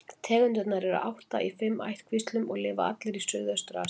Tegundirnar eru átta í fimm ættkvíslum og lifa allar í Suðaustur-Asíu.